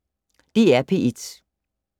DR P1